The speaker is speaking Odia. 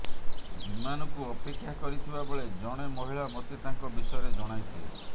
ବିମାନକୁ ଅପେକ୍ଷା କରିଥିବା ବେଳେ ଜଣେ ମହିଳା ମୋତେ ତାଙ୍କ ବିଷୟରେ ଜଣାଇଥିଲେ